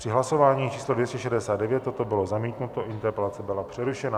Při hlasování číslo 269 toto bylo zamítnuto, interpelace byla přerušena.